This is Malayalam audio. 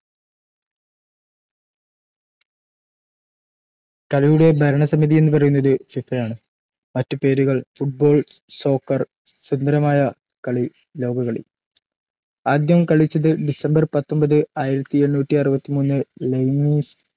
കളിയുടെ ഭരണ സമിതി എന്ന് പറയുന്നത് FIFA ആണ് മറ്റ് പേരുകൾ football socker സുന്ദരമായ കളി love കളി ആദ്യം കളിച്ചത് ഡിസംബർ പത്തൊൻപത് ആയിരത്തിഎണ്ണൂറ്റി അറുപത്തിമൂന് ലൈയിംസ്